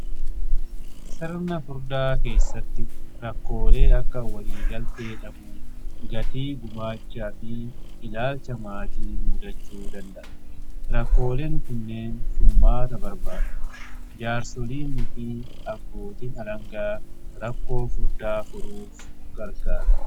Sirna furdaa keessatti rakkoolee akka waliigaltee dhabuu, gatii gumaachaa fi ilaalcha maatii mudachuu danda'a. Rakkooleen kunneen furmaata barbaadu. Jaarsoliini fi abbootin alangaa rakkoo furdaa furuuf gargaaru.